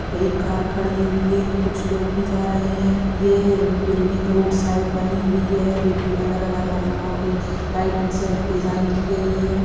यहाँ पर एक कार खड़ी हुई है कुछ लोग भी जा रहे हैं ये बिल्डिंग रोड साइड बनी हुई है जो कि अलग-अलग रंगों की लाइटिंग से डिजाइन की गई है।